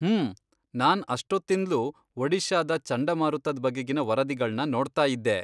ಹ್ಮೂ.., ನಾನ್ ಅಷ್ಟೊತ್ತಿಂದ್ಲೂ ಒಡಿಶಾದ ಚಂಡಮಾರುತದ್ ಬಗೆಗಿನ್ ವರದಿಗಳ್ನ ನೋಡ್ತಾಯಿದ್ದೆ.